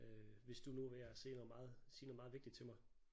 Øh hvis du nu var ved at sige noget meget sige noget meget vigtigt til mig